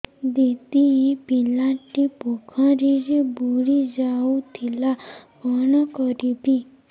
ଦିଦି ଏ ପିଲାଟି ପୋଖରୀରେ ବୁଡ଼ି ଯାଉଥିଲା କଣ କରିବି